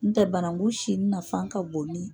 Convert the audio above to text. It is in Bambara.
N tɛ banangun sini nafan ka bon ni